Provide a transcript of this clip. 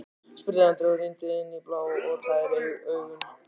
spurði Andri og rýndi inn í blá og tær augun.